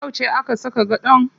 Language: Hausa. Yauce aka saka gadon?